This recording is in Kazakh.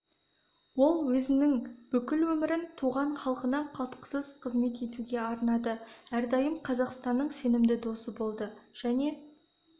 ол өзінің бүкіл өмірін туған халқына қалтқысыз қызмет етуге арнады әрдайым қазақстанның сенімді досы болды және